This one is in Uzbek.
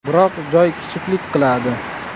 Biroq joy kichiklik qiladi.